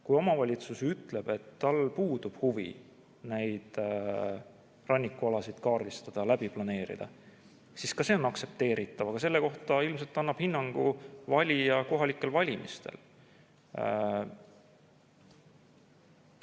Kui omavalitsus ütleb, et tal puudub huvi neid rannikualasid kaardistada, läbi planeerida, siis ka see on aktsepteeritav, aga sellele ilmselt annab hinnangu valija kohalikel valimistel.